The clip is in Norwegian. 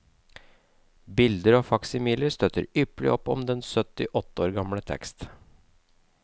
Bilder og faksimiler støtter ypperlig opp om den sytti år gamle tekst.